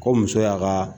Ko muso y'a ka